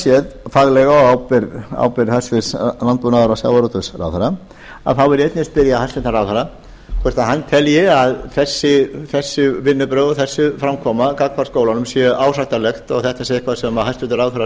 séð faglega á ábyrgð hæstvirts landbúnaðarráðherra þá vil ég einnig spyrja hæstvirtan ráðherra hvort hann telji að þessi vinnubrögð og þessi framkoma gagnvart skólanum sé ásættanleg og þetta sé eitthvað sem hæstvirtur ráðherra